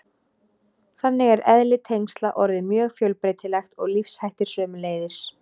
Þannig er eðli tengsla orðið mjög fjölbreytilegt og lífshættir sömuleiðis.